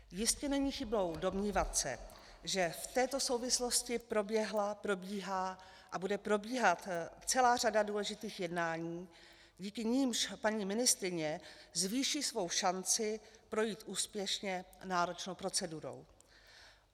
Jistě není chybou domnívat se, že v této souvislosti proběhla, probíhá a bude probíhat celá řada důležitých jednání, díky nimž paní ministryně zvýší svoji šanci projít úspěšně náročnou procedurou.